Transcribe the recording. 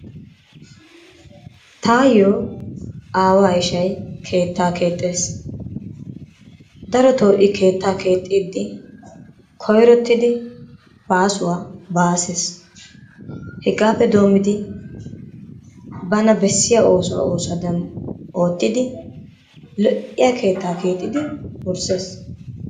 Taayyo aawa ishshay keettaa keexxees. Darotoo I keetta keexxidi koyrotidi baasuwa baasses. Hegape doommidi bana bessiyaa oosuwa oosuwadan oottidi lo''iya keetta keexxidi wurssees.